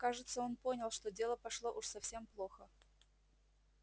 кажется он понял что дело пошло уж совсем плохо